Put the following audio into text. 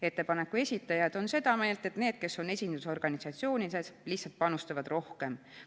Ettepaneku esitajad on seda meelt, et need, kes on esindusorganisatsioonides, lihtsalt panustavad rohkem.